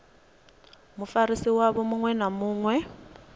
mufarisi wavho muṅwe na muṅwe